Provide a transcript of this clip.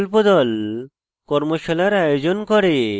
কর্মশালার আয়োজন করে